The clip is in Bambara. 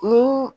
Ni